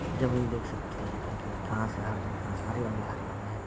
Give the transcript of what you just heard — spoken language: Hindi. जमीन देख सकती हैं कई-कई घास है हर जगह सारी हरयाली भरी है ।